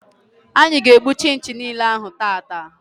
Anyị ga-egbu chinchi niile ahụ tata.